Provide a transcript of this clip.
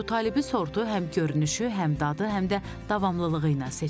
Əbutalibi sortu həm görünüşü, həm dadı, həm də davamlılığı ilə seçilir.